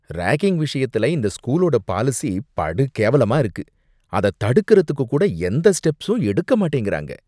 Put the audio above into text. Ragging விஷயத்துல இந்த ஸ்கூலோட பாலிசி படு கேவலமா இருக்கு, அத தடுக்கறதுக்குக் கூட எந்த ஸ்டெப்ஸும் எடுக்க மாட்டேங்கிறாங்க.